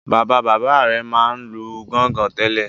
Bàbá-bàbá rẹ̀ máa ń lu gọ́ngọn tẹ́lẹ̀.